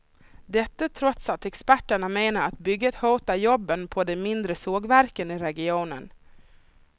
Detta trots att experterna menar att bygget hotar jobben på de mindre sågverken i regionen.